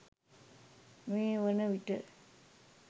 මේ වන විට